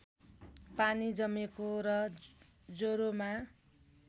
पानी जमेको र ज्वरोमा